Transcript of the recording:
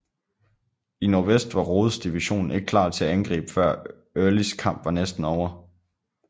I nordvest var Rodes division ikke klar til at angribe før Earlys kamp var næsten ovre